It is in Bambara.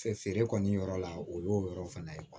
feere kɔni yɔrɔ la o y'o yɔrɔ fana ye